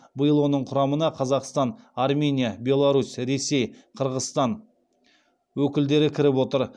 биыл оның құрамына қазақстан армения беларусь ресей қырғызстан өкілдері кіріп отыр